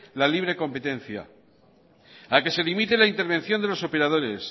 la libre competencia a que se limite la intervención de los operadores